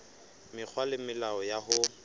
mekgwa le melao ya ho